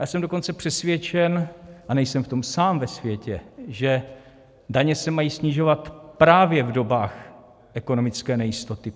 Já jsem dokonce přesvědčen, a nejsem v tom sám ve světě, že daně se mají snižovat právě v dobách ekonomické nejistoty.